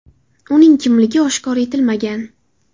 Uning kimligi oshkor etilmagan.